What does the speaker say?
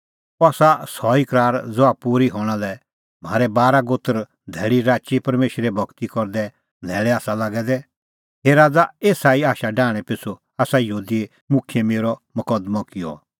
अह आसा सह ई करार ज़हा पूरी हणां लै म्हारै बारा गोत्र धैल़ीराची परमेशरे भगती करदी न्हैल़ै आसा लागै दै हे राज़ा एसा ई आशा डाहणें पिछ़ू आसा यहूदी मुखियै मेरअ मकदमअ किअ